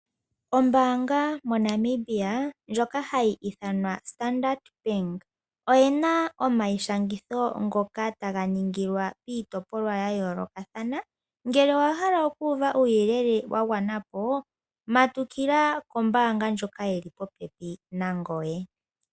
Ombaanga moNamibia ndjoka hayi ithanwa Standard Bank, oye na omaishangitho ngoka taga ningilwa piitopolwa ya yoolokathana. Ngele owa hala okuuva uuyelele wa gwana po, matukila kombaanga ndjoka yi li popepi nangoye.